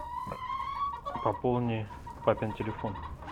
пополни папин телефон